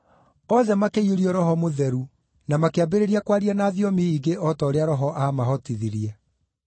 Othe makĩiyũrio Roho Mũtheru na makĩambĩrĩria kwaria na thiomi ingĩ o ta ũrĩa Roho aamahotithirie.